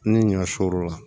Ni ɲɔ sɔr'o la